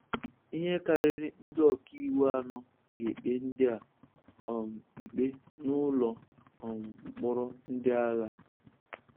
ihe karịrị ndị ọka iwu anọ ga-ekpe ndị a um ikpe n'ụlọ um mkpọrọ ndị agha